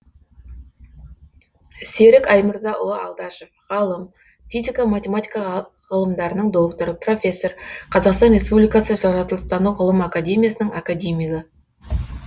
серік аймырзаұлы алдашев ғалым физика математика ғылымдарының докторы профессор қазақстан республикасы жаратылыстану ғылым академиясының академигі